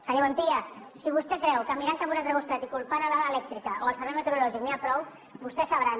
senyor montilla si vostè creu que mirant cap a un altre costat i culpantne l’elèctrica o el servei meteorològic n’hi ha prou vostès sabran